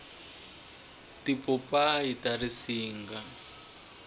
tipopayi ta siringa